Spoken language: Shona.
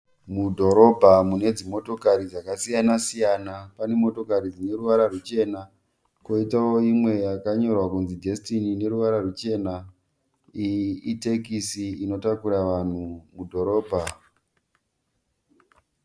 Mudhorobha mune dzimotokari dzakasiyana siyana. Pane motokari dzine ruvara ruchena koitawo imwe yakanyorwa kunzi "Destiny" ine ruvara ruchena, iyi itekisi inotakura vanhu mudhorobha.